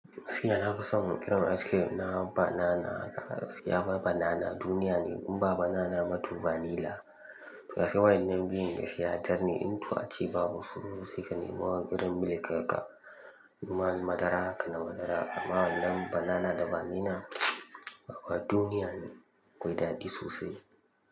Gaskiya na fi son cream ice cream na banana haka gaskiya banana duniya ne in ba banana bato vanilla. Gaskiya waɗannan biyun gaskiya dar ne in to a ci babu tsoro sai ka nema wa irin milk ha ka ruwan madara ka na madara amma wannan banana da vanilla wannan duniya ne. aKwai daɗi sosai.